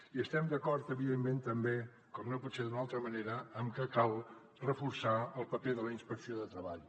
i estem d’acord evidentment també com no pot ser d’una altra manera en que cal reforçar el paper de la inspecció de treball